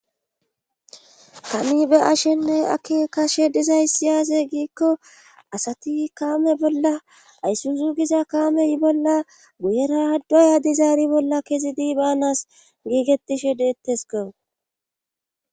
Tami be ashenne aki kashe dizaysiyaase giikko asati kaame bolla ayssunzu giza kaamey bolla guyerahdoya dizaari bolla kezidi baanas giigetishe deettes gawo.